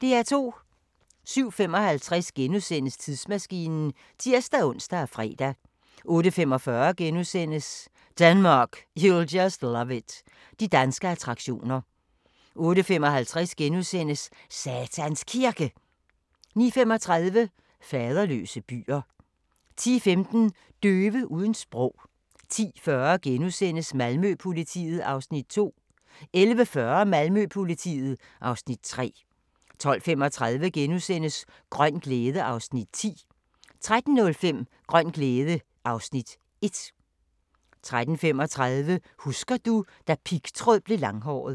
07:55: Tidsmaskinen *(tir-ons og fre) 08:45: Denmark, you'll just love it – de danske attraktioner * 08:55: Satans Kirke * 09:35: Faderløse byer * 10:15: Døve uden sprog 10:40: Malmø-politiet (Afs. 2)* 11:40: Malmø-politiet (Afs. 3) 12:35: Grøn glæde (Afs. 10)* 13:05: Grøn glæde (Afs. 1) 13:35: Husker du - da pigtråd blev langhåret